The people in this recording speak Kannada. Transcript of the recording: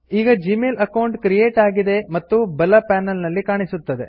ಈಗ ಜಿಮೇಲ್ ಅಕೌಂಟ್ ಕ್ರಿಯೇಟ್ ಆಗಿದೆ ಮತ್ತು ಬಲ ಪನೆಲ್ ನಲ್ಲಿ ಕಾಣಿಸುತ್ತದೆ